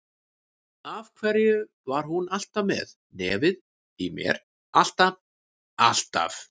Af hverju var hún alltaf með nefið ofan í mér, alltaf, alltaf.